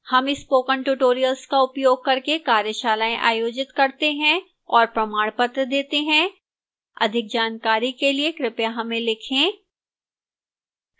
हम spoken tutorial का उपयोग करके कार्यशालाएँ आयोजित करते हैं और प्रमाणपत्र देती है अधिक जानकारी के लिए कृपया हमें लिखें